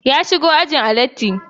Ya shigo ajin a latti